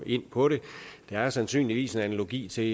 ind på det der er sandsynligvis en analogi til